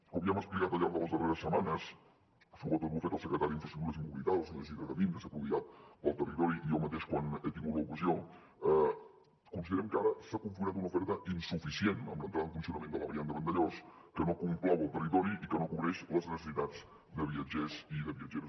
com ja hem explicat al llarg de les darreres setmanes sobretot ho ha fet el secretari d’infraestructures i mobilitat el senyor isidre gavín que s’ha prodigat pel territori i jo mateix quan he tingut l’ocasió considerem que ara s’ha configurat una oferta insuficient amb l’entrada en funcionament de la variant de vandellòs que no complau el territori i que no cobreix les necessitats de viatgers i de viatgeres